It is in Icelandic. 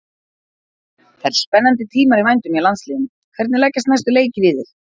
Það eru spennandi tímar í vændum hjá landsliðinu, hvernig leggjast næstu leikir í þig?